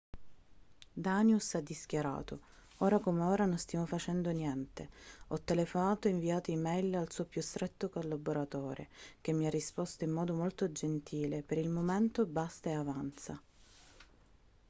danius ha dischiarato ora come ora non stiamo facendo niente ho telefonato e inviato e-mail al suo più stretto collaboratore che mi ha risposto in modo molto gentile per il momento basta e avanza